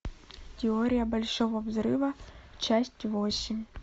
теория большого взрыва часть восемь